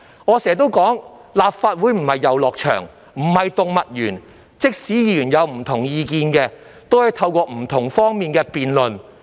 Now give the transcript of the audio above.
我經常說，立法會可不是遊樂場或動物園，即使議員有不同意見，亦可從不同角度辯論。